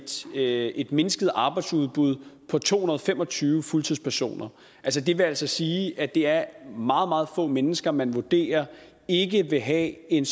er et mindsket arbejdsudbud på to hundrede og fem og tyve fuldtidspersoner det vil altså sige at det er meget meget få mennesker man vurderer ikke vil have en